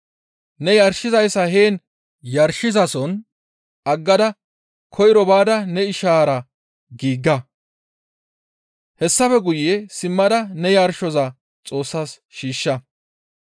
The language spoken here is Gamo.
ne yarshizayssa heen yarshizason aggada koyro baada ne ishara giiga; hessafe guye simmada ne yarshoza Xoossas shiishsha.